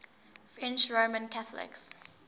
french roman catholics